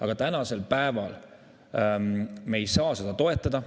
Aga tänasel päeval me ei saa seda toetada.